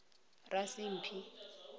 rasimphi